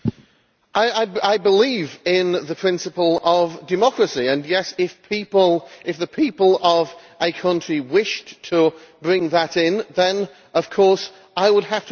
I believe in the principle of democracy and, yes, if the people of a country wished to bring that in, then of course I would have to accept it.